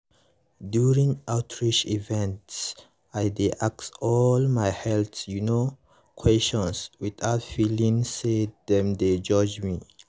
um during outreach events i dey ask all my health you know questions without feeling say dem dey judge me.